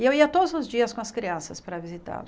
E eu ia todos os dias com as crianças para visitá-la.